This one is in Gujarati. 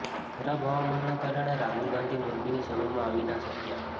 ખરાબ હવામાનના કારણે રાહુલ ગાંધી મોરબીની સભામાં આવી ના શક્યા